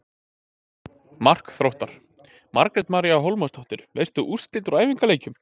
Mark Þróttar: Margrét María Hólmarsdóttir Veistu úrslit úr æfingaleikjum?